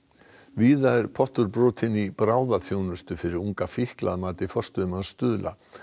víða er pottur brotinn í bráðaþjónustu fyrir unga fíkla að mati forstöðumanns Stuðla